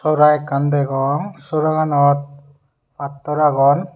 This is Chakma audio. sora ekkan degong sora ganot pattor agon.